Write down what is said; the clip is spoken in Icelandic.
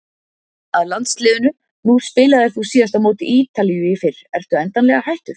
Að landsliðinu, nú spilaðir þú síðast á móti Ítalíu í fyrr, ertu endanlega hættur?